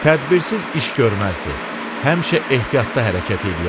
Tədbirsiz iş görməzdi, həmişə ehtiyatlı hərəkət eləyərdi.